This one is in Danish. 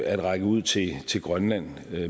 at række ud til til grønland